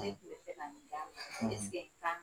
eseke i kan